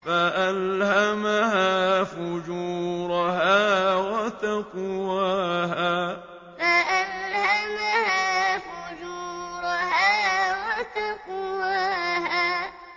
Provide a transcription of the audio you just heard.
فَأَلْهَمَهَا فُجُورَهَا وَتَقْوَاهَا فَأَلْهَمَهَا فُجُورَهَا وَتَقْوَاهَا